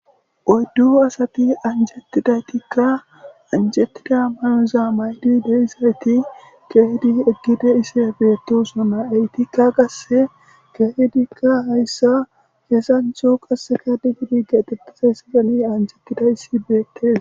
Oyddu asati anjetidaytikka, anjetida mayoza mayidi de7izayitti keyiddi eqqidayssi beettosona. Ettikka qasse keehidika hayssa hezzanththo qasseka de7idi keexxeththidayssati daridi anjetidayssi beettees.